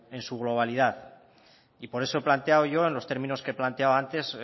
en su globalidad y por eso he planteado yo en los términos que he planteado antes